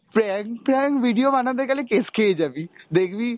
prank prank video বানাতে গেলে case খেয়ে যাবি দেখবি,